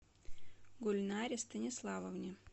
гульнаре станиславовне